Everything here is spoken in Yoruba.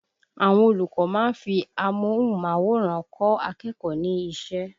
Àwọn olùkọ́ máa ń fi amóhùnmáwòrán kọ́ akẹ́kọ̀ọ́ ní ṣẹ́